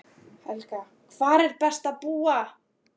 Helga: Hvar er best að búa?